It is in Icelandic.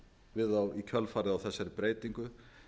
við þá í kjölfarið á þessari breytingu